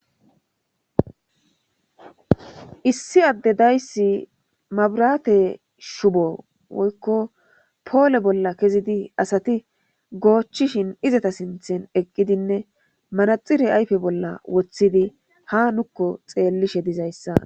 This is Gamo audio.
issi adde dayssi mabraate shubo woykko poole bolla kezidi asati goochchishin izata sinthen eqqidinne manaxire ayfe bolla woththidi ha nukko xeellishe dizayssa